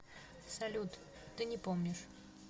салют ты не помнишь